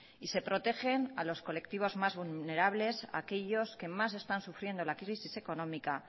y se protegen a los colectivos más vulnerables aquellos que más están sufriendo la crisis económica